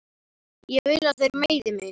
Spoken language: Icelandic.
Ég vil að þeir meiði mig.